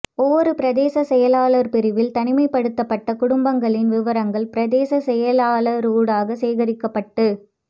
ஒவ்வொரு பிரதேச செயலர் பிரிவில் தனிமைப்படுத்தப்பட்ட குடும்பங்களின் விவரங்கள் பிரதேச செயலாளரூடாக சேகரிக்கப்பட்டு